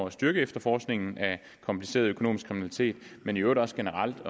at styrke efterforskningen af kompliceret økonomisk kriminalitet men i øvrigt også generelt